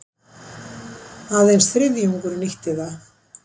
Aðeins þriðjungur nýtti það